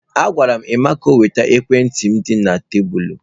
Agwara m Emma ka o weta ekwentị m dị na tebụl.